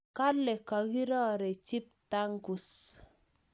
Kale kakirorechi ptangus